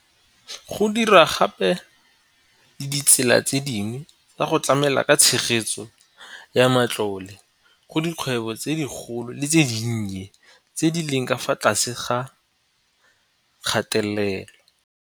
Go dirwa gape le ditsela tse dingwe tsa go tlamela ka tshegetso ya matlole go dikgwebo tse dikgolo le tse dinnye tse di leng ka fa tlase ga kgatelelo.